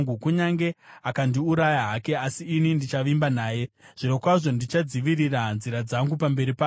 Kunyange akandiuraya hake, asi ini ndichavimba naye; zvirokwazvo ndichadzivirira nzira dzangu pamberi pake.